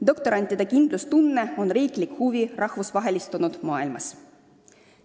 Doktorantide kindlustunne on rahvusvahelistunud maailmas ka riikide huvi.